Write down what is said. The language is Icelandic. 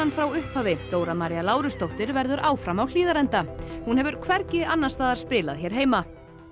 frá upphafi Dóra María Lárusdóttir verður áfram á Hlíðarenda hún hefur hvergi annars staðar spilað hér heima